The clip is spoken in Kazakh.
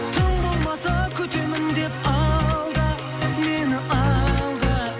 тым болмаса күтемін деп алда мені алда